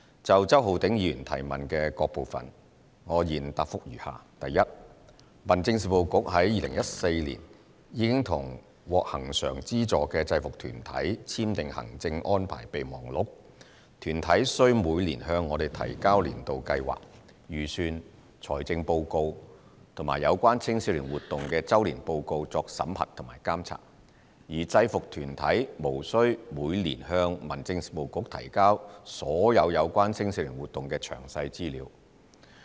就周浩鼎議員主體質詢的各部分，我現答覆如下︰一民政事務局於2014年已與獲恆常資助的制服團體簽訂行政安排備忘錄，團體需每年向我們提交年度計劃、預算、財政報告及有關青少年活動的周年報告作審核和監察，而制服團體無需每年向民政事務局提交所有有關青少年活動的詳細資料。